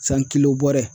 San kiliyan